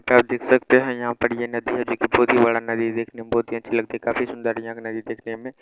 जैसा आप देख सकते हैं यहाँ पर ये नदी है जो की बहुत ही बड़ा नदी देखने में बहुत ही अच्छी लगती है काफी सुन्दर है यहाँ का नदी देखने में।